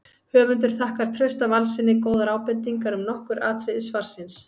Höfundur þakkar Trausta Valssyni góðar ábendingar um nokkur atriði svarsins.